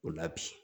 O la bi